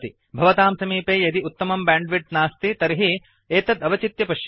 भवतां समीपे यदि उत्तमं बैंड्विड्त् नास्ति तर्हि एतत् अवचित्य पश्यन्तु